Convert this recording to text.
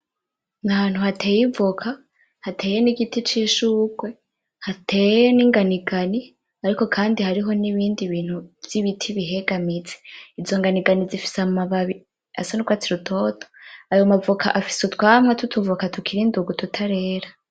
N,ahantu hateye ivoka hateye n'igiti c,ishugwe hateye n'inganigani ariko kandi hari n'ibindi bintu vy'ibiti bihegamize izo nganigani zifise amababi asa n'urwatsi rutoto , ayo mavoka afise utwamwa tw'utuvoka tukiri indugu tutarera.